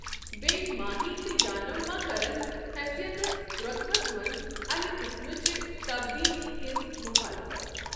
بییہِ ، ماہی تہٕ یانم ما كرن حیثیتس روطبس منز امہِ قٕسمٕچہِ تبدیلی ہنز مُخالفت ۔